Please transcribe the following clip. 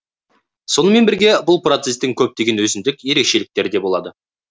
сонымен бірге бұл процестін көптеген өзіндік ерекшеліктері де болды